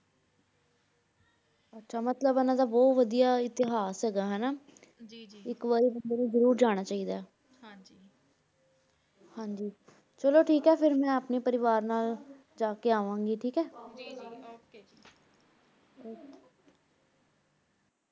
ਆਚਾ ਮਤਲਬ ਇਨਾਂ ਦਾ ਬੋਹਤ ਵਾਦਿਯ ਇਤਿਹਾਸ ਹੇਗਾ ਨਾ ਜੀ ਜੀ ਏਇਕ ਵਾਰੀ ਬੰਦੇ ਨੂ ਜ਼ਰੁਰ ਜਾਣਾ ਚੀ ਦਾ ਆਯ ਹਾਂਜੀ ਹਾਂਜੀ ਚਲੋ ਠੀਕ ਆਯ ਫੇਰ ਮੈਂ ਅਪਨੇ ਪਰਿਵਾਰ ਨਾਲ ਜਾ ਕੇ ਆਵਾਂ ਗੀ ਠੀਕ ਆਯ ਜੀ ਜੀ ok